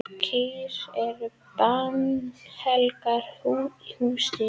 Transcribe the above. Kýr eru bannhelgar í hindúasið.